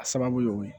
A sababu y'o ye